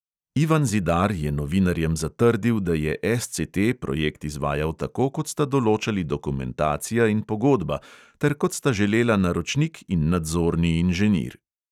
Ivan zidar je novinarjem zatrdil, da je SCT projekt izvajal tako, kot sta določali dokumentacija in pogodba ter kot sta želela naročnik in nadzorni inženir.